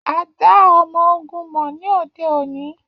A da ọmọ-ogun mọ ni ode oni.